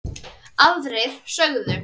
Aðrir sögðu